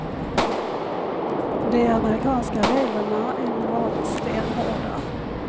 De amerikanska reglerna är normalt stenhårda.